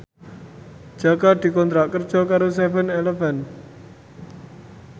Jaka dikontrak kerja karo seven eleven